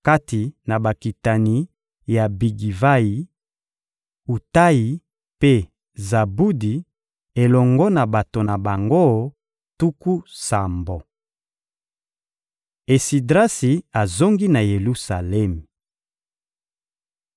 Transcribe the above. Kati na bakitani ya Bigivayi: Utayi mpe Zabudi elongo na bato na bango tuku sambo. Esidrasi azongi na Yelusalemi